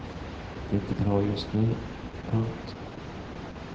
Det är inte bra just nu. punkt